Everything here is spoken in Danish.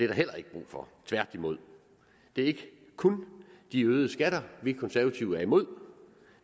der heller ikke brug for tværtimod det er ikke kun de øgede skatter vi konservative er imod